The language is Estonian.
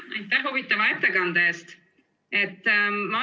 Aitäh huvitava ettekande eest!